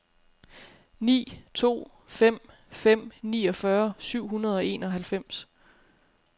ni to fem fem niogfyrre syv hundrede og enoghalvfems